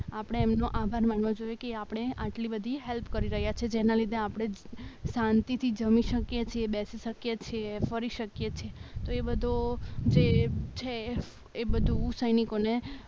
આપણે એમનો આભાર માનવો જોઈએ કે એ આપણને આટલી બધી હેલ્પ કરી રહ્યા છે જેના લીધે આપણે શાંતિથી જમી શકીએ છીએ બેસી શકે છે ફરી શકે છીએ તો એ બધો જે છ એ બધું સૈનિકોને